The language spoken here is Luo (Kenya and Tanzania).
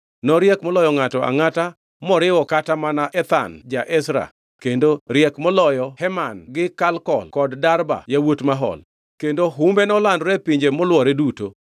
Noriek moloyo ngʼato angʼata moriwo kata mana Ethan ja-Ezra kendo riek moloyo Heman gi Kalkol kod Darda yawuot Mahol. Kendo humbe nolandore e pinje molwore duto.